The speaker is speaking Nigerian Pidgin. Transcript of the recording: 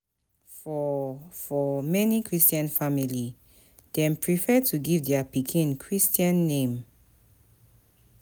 For For many Christian family, dem prefer to give their pikin Christian name